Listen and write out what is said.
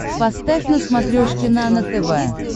поставь на смотрешке нано тв